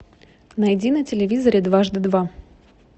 найди на телевизоре дважды два